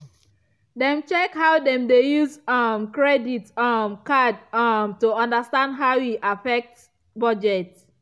dem check how dem dey use um credit um card um to understand how e affect budget.